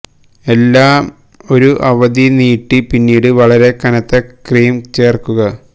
എല്ലാ ഒരു അവധി നീട്ടി പിന്നീട് വളരെ കനത്ത ക്രീം ചേർക്കുക